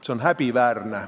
See on häbiväärne.